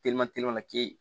la ke